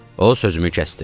O sözümü kəsdi.